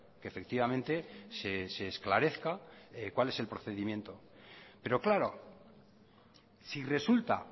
que efectivamente se esclarezca cuál es el procedimiento pero claro si resulta